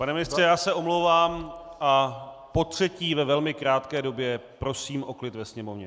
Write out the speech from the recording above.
Pane ministře, já se omlouvám a potřetí ve velmi krátké době prosím o klid ve sněmovně.